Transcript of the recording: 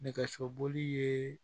Nɛgɛsoboli ye